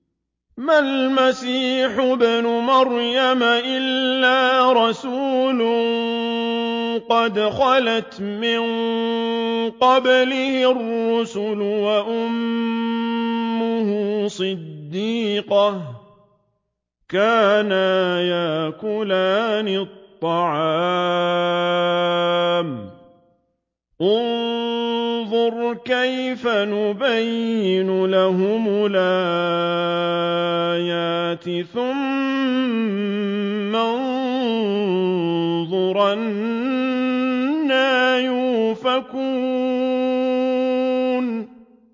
مَّا الْمَسِيحُ ابْنُ مَرْيَمَ إِلَّا رَسُولٌ قَدْ خَلَتْ مِن قَبْلِهِ الرُّسُلُ وَأُمُّهُ صِدِّيقَةٌ ۖ كَانَا يَأْكُلَانِ الطَّعَامَ ۗ انظُرْ كَيْفَ نُبَيِّنُ لَهُمُ الْآيَاتِ ثُمَّ انظُرْ أَنَّىٰ يُؤْفَكُونَ